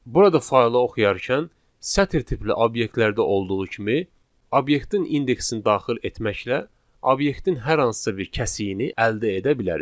Burada faylı oxuyarkən sətir tipli obyektlərdə olduğu kimi obyektin indeksini daxil etməklə obyektin hər hansısa bir kəsiyini əldə edə bilərik.